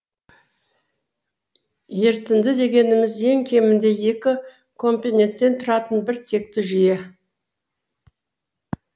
ерітінді дегеніміз ең кемінде екі компоненттен тұратын бір текті жүйе